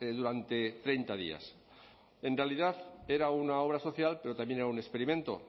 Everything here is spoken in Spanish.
durante treinta días en realidad era una obra social pero también era un experimento